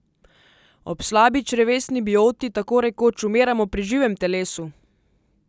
Ob slabi črevesni bioti tako rekoč umiramo pri živem telesu!